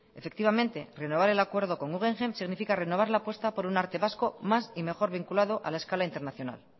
efectivamente renovar el acuerdo con guggenheim significa renovar la apuesta por un arte vasco más y mejor vinculado a la escala internacional